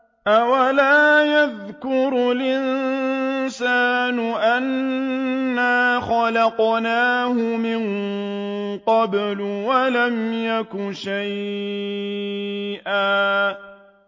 أَوَلَا يَذْكُرُ الْإِنسَانُ أَنَّا خَلَقْنَاهُ مِن قَبْلُ وَلَمْ يَكُ شَيْئًا